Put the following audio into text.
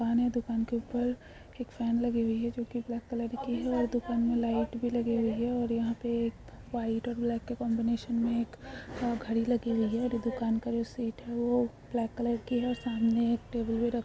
दुकान है दुकान के ऊपर एक फेन लगी हुई है जो कि ब्लैक कलर की है और दुकान में लाइट भी लगी हुई है और यहां पे एक वाइट और ब्लैक का कोमिनेसं में एक अ घड़ी लगी हुई है दु-दुकान का जो सीट है वो ब्लैक कलर की है और सामने एक टेबल भी र --